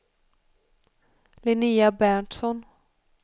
Linnea Berntsson